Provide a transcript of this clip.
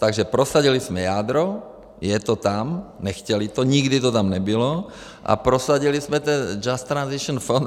Takže prosadili jsme jádro, je to tam, nechtěli to, nikdy to tam nebylo, a prosadili jsme ten Just Transition Fund.